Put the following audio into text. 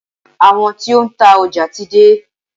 Àwọn tí ó ń ta ọjà ti dé.